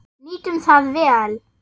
Nýtum það vel.